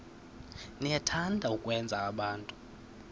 niyathanda ukwenza abantu